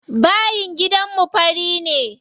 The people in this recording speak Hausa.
Bayin gidanmu fari ne.